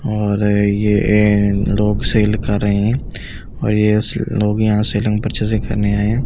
और ये ऐं लोग सेल कर रहे हैं और ये से लोग यहां सेलिंग पर्चेसिंग करने आये हैं यहां पे--